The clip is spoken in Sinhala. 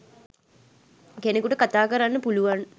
කෙනෙකුට කතා කරන්න පුලුවන්